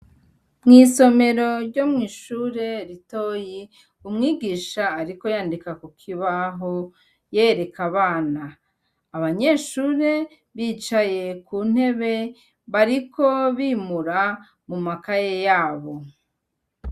Mw'isomero ryo kwi'ishure ritoyi, umwigisha ariko yandika kukibaho yereka abana, abanyeshure bicaye kuntebe bariko bimura mu makaye yabo.